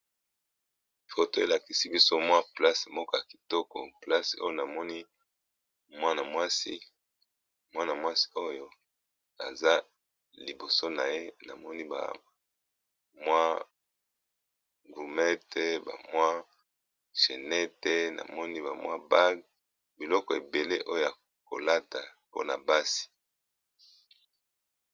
Foto elakisi biso mwa place moko ya kitoko place oyo namoni mwana mwasi oyo aza liboso na ye namoni ba mwa gurmete bamwa chenete namoni bamwa bag, biloko ebele oyo akolata mpona basi.